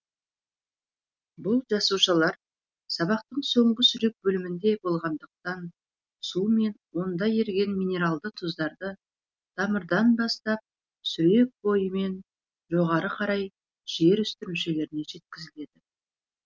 бұл жасушалар сабақтың соңғы сүрек бөлімінде болатындықтан су мен онда еріген минералды тұздары тамырдан бастап сүрек бойымен жоғаы қарай жер үсті мүшелеріне жеткізіледі